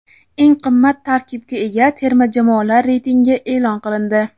Eng qimmat tarkibga ega terma jamoalar reytingi e’lon qilindi.